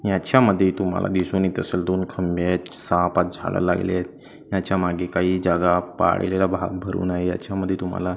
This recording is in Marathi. याच्यामध्ये तुम्हाला दिसून येत असेल दोन खंबे आहेत सहा-पाच झाडं लागले आहेत त्याच्यामागे काही जागा पाहिलेला भाग भरून आहे याच्यामध्ये तुम्हाला--